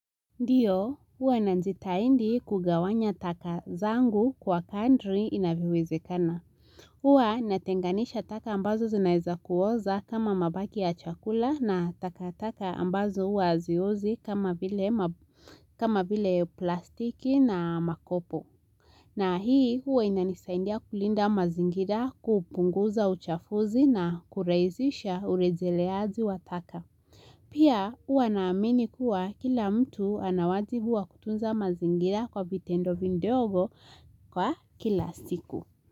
Ndiyo, huwa najitaidi kugawanya taka zangu kwa kadri inavyowezekana. Huwa natenganisha taka ambazo zinaeza kuoza kama mabaki ya chakula na taka taka ambazo huwa haziozi kama vile plastiki na makopo. Na hii huwa inanisaidia kulinda mazingira kupunguza uchafuzi na kurahisisha urejeleaji wa taka. Pia uwa naamini kuwa kila mtu ana wajibu wa kutunza mazingira kwa vitendo vidogo kwa kila siku.